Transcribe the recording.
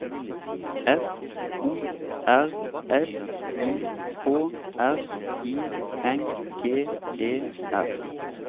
F O R S I K R I N G E R